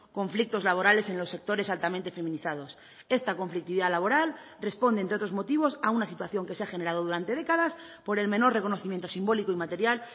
conflictos laborales en los sectores altamente feminizados esta conflictividad laboral responde entre otros motivos a una situación que se ha generado durante décadas por el menor reconocimiento simbólico y material